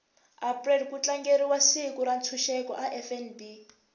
april kutlangeriwa siku rentshuseko a fnb